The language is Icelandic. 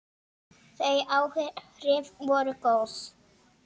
Þau áhrif voru góð.